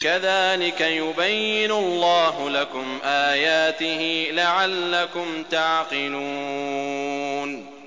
كَذَٰلِكَ يُبَيِّنُ اللَّهُ لَكُمْ آيَاتِهِ لَعَلَّكُمْ تَعْقِلُونَ